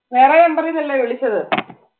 വേറെ nmber ഈന്ന് അല്ലേ വിളിച്ചത്?